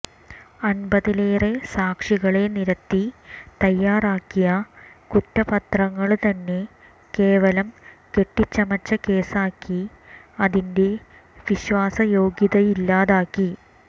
അന്പതിലേറെ സാക്ഷികളെ നിരത്തി തയ്യാറാക്കിയ കുറ്റപത്രങ്ങള്ത്തന്നെ കേവലം കെട്ടിച്ചമച്ച കേസാക്കി അതിന്റെ വിശ്വാസയോഗ്യതയില്ലാതാക്കി